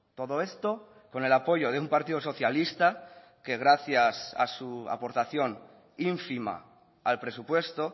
todo esto con el apoyo de un partido socialista que gracias a su aportación ínfima al presupuesto